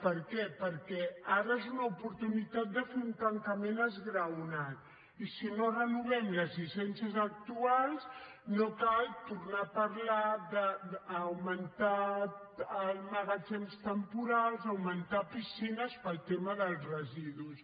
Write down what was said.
per què perquè ara és una oportunitat de fer un tancament esglaonat i si no renovem les llicències actuals no cal tornar a parlar d’augmentar magatzems temporals augmentar piscines pel tema dels residus